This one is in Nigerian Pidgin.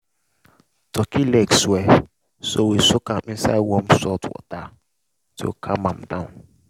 turkey leg swell so we soak am inside warm salt water to calm am down.